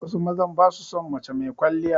Wasu mazan ba su son mace mai kwaliya.